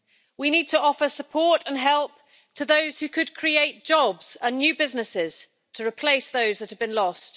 We need to offer support and help to those who could create jobs and new businesses to replace those that have been lost.